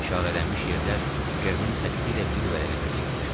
İşarələnmiş yerlər Kernin xətti ilə bir vərəqə köçürülmüşdü.